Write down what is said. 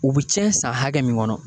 U bɛ cɛn san hakɛ min kɔnɔ